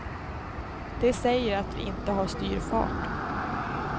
De säger att vi inte har styrfart.